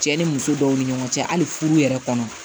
Cɛ ni muso dɔw ni ɲɔgɔn cɛ hali furu yɛrɛ kɔnɔ